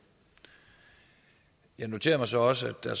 jeg noterer mig så også at der